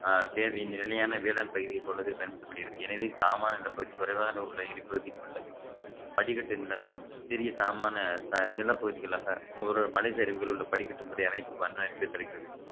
அஹ் தேவை நிலையான வேளாண் பகுதியைப் போலவே பயன்படுத்தப்படுகிறது எனவே தாமாக இந்தப் பகுதி குறைவாக உள்ள இடிப்பகுதியில் உள்ள படிக்கட்டு நிலங்கள் சிறிய சமமான ச~ நிலப்பகுதிகளாக ஒரு மலை சரிவுகள் உள்ள படிக்கட்டு முறை அமைப்பு அமைப்பை தருகிறது